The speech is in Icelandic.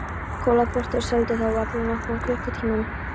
Kolaportið og seldi þá alla á nokkrum klukkutímum.